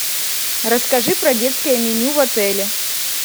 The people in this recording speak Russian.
расскажи про детское меню в отеле